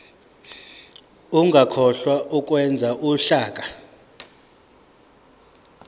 ungakhohlwa ukwenza uhlaka